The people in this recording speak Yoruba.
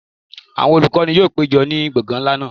Awọn olukọni yoo pejọ ni gbọngan nla naa